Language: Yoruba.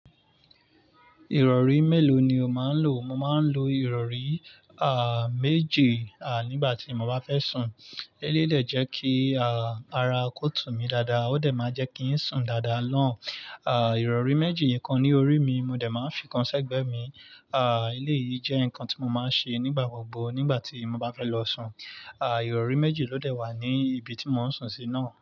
Ìrọ̀rí mélòó ni o máa ń lò? Mo máa ń lo ìrọ̀rí, à, méje, à, nígbà tí mo bá fẹ́ sùn. Élèyi dẹ̀ jẹ́ kí, à, ara kó tún mi dáadáa. Ó dẹ̀ máa jẹ́ kí ń sùn dáadáa naa. À, ìrọ̀rí méjì ikan ní orí mi, mo dẹ̀ máa ń fi ikan sẹ́gbẹ̀ mi. À, eléyìí jẹ́ nǹkan tí mo máa ń ṣe nígbà gbogbo nígbà tí mo bá fẹ́ lọ sùn. À, ìrọ̀rí méjì ló dẹ̀ wà ní ibi tí mo ń sùn sí náà.